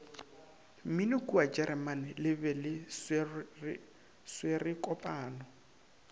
mminokua jeremane le bele swerekopano